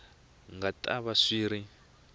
nga ta va swi ri